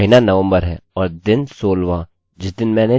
ऐसा इसलिए क्योंकि हमने यह नहीं दर्शाया है कि हमें अपडेट कहाँ चाहिए